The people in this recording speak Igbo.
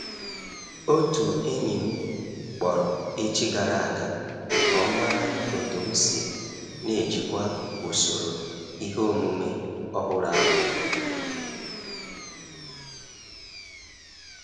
Otu enyi m kpọrọ echi gara a ga ka ọ mara otu m si n'ejikwa usoro ihe omume ọhụrụ ahụ.